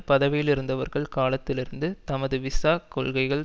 பதவியிலிருந்தவர்கள் காலத்திலிருந்து தமது விசா கொள்கைகள்